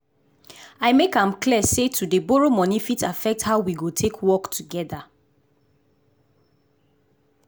i make am clear say to dey borrow money fit affect how we go take work together.